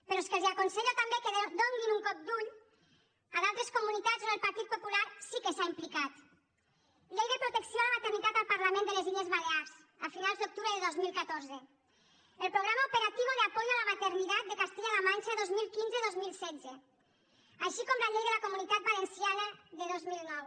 però és que els aconsello també que donin un cop d’ull a d’altres comunitats on el partit popular sí que s’ha implicat llei de protecció a la maternitat al parlament de les illes balears a finals d’octubre de dos mil catorze el programa operativo de apoyo a la maternidad de castilla la mancha dos mil quinze dos mil setze així com la llei de la comunitat valenciana de dos mil nou